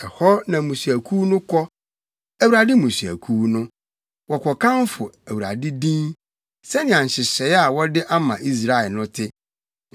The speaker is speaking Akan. Ɛhɔ na mmusuakuw no kɔ, Awurade mmusuakuw no, Wɔkɔkamfo Awurade din, sɛnea nhyehyɛe a wɔde ama Israel no te.